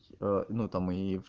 э ну там и